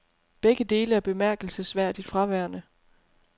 Begge dele er bemærkelsesværdigt fraværende.